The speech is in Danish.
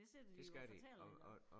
Det sidder de jo og fortæller ikke også